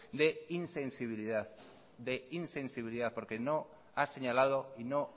de insensibilidad porque no ha señalado y no